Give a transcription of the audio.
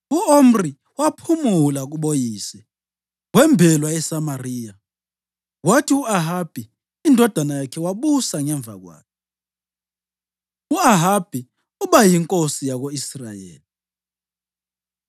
U-Omri waphumula kuboyise wembelwa eSamariya. Kwathi u-Ahabi indodana yakhe wabusa ngemva kwakhe. U-Ahabi Uba Yinkosi Yako-Israyeli